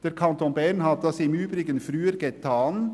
Der Kanton Bern hat das im Übrigen früher getan.